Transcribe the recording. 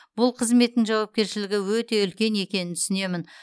бұл қызметтің жауапкершілігі өте үлкен екенін түсінемін